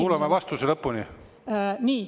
Kuulame vastuse lõpuni!